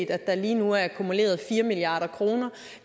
at der lige nu er akkumuleret fire milliard kroner